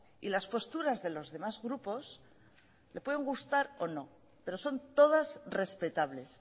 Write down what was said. y las posturas de los demás grupos le pueden gustar o no pero son todas respetables